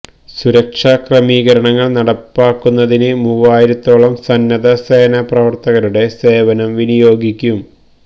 സുരക്ഷാ ക്രമീകരണങ്ങൾ നടപ്പാക്കുന്നതിന് മൂവായിരത്തോളം സന്നദ്ധ സേനാ പ്രവർത്തകരുടെ സേവനം വിനിയോഗിക്കും